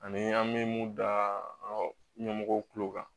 Ani an bɛ mun da an ka ɲɛmɔgɔw kulo kan